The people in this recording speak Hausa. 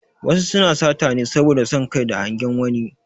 Wasu suna sata ne saboda son Kai da hangen wani